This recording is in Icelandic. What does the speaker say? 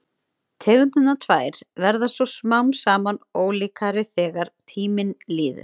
Tegundirnar tvær verða svo smám saman ólíkari þegar tíminn líður.